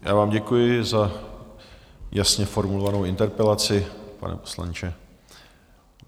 Já vám děkuji za jasně formulovanou interpelaci, pane poslanče.